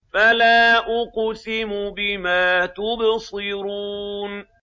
فَلَا أُقْسِمُ بِمَا تُبْصِرُونَ